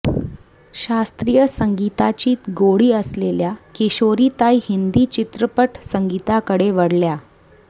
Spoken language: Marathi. शास्त्रीय संगीताची गोडी असलेल्या किशोरीताई हिंदी चित्रपट संगीताकडे वळल्या